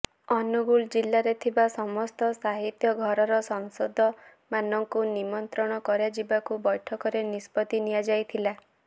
ଅନୁଗୋଳ ଜିଲ୍ଲାରେ ଥିବା ସମସ୍ତ ସାହିତ୍ୟ ଘରର ସଦସ୍ୟମାନଙ୍କୁ ନିମନ୍ତ୍ରଣ କରାଯିବାକୁ ବୈଠକରେ ନିଷ୍ପତି ନିଆଯାଇଥିଲା